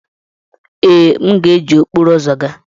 Ee, m ga-eji okporo ụzọ gaa.